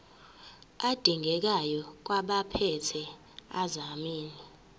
adingekayo kwabaphethe ezamanzi